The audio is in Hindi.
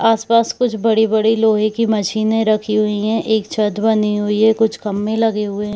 आस - पास कुछ बडी - बड़ी लोहे की मशीने रखी हुए है एक छत बनी हुई है कुछ खंबे लगे हुए हैं।